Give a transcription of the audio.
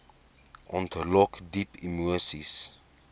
ontlok diep emoseis